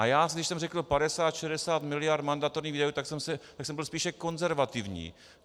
A když jsem řekl 50, 60 miliard mandatorních výdajů, tak jsem byl spíše konzervativní.